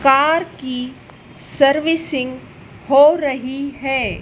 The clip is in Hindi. कार की सर्विसिंग हो रही है।